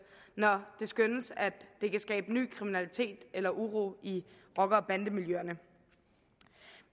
når det skønnes at det kan skabe ny kriminalitet eller uro i rocker og bandemiljøerne